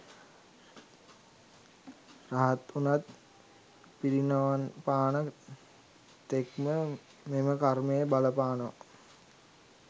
රහත් වුණත් පිරිනිවන්පාන තෙක්ම මෙම කර්මය බලපානවා.